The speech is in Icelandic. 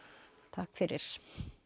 takk fyrir